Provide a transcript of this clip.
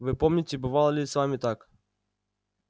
вы помните бывало ли с вами так